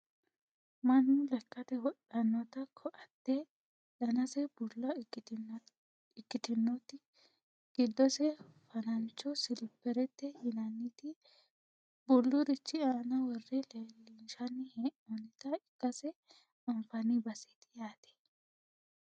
mannu lekkate wodhannoti ko"atte danase bulla ikkitinoti giddose fanancho silipperete yinanniti bullurichi aana worre leellinshanni hee'noonnita ikkase anfanni baseeti yaate